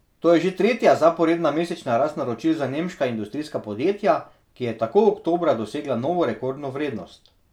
To je že tretja zaporedna mesečna rast naročil za nemška industrijska podjetja, ki je tako oktobra dosegla novo rekordno vrednost.